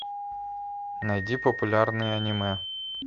найди популярные аниме